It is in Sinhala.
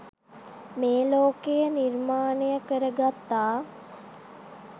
මේ ලෝකය නිර්මාණය කරගත්තා